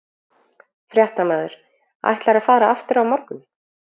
Fréttamaður: Ætlarðu að fara aftur á morgun?